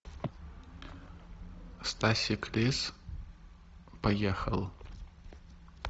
стасик лис поехал